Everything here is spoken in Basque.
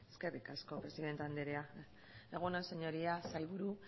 eskerrik asko presidente andrea egun on señorías sailburu